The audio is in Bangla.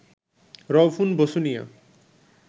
রউফুন বসুনিয়া